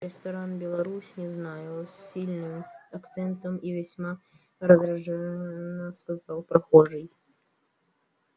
ресторан беларусь не знаю с сильным акцентом и весьма раздражённо сказал прохожий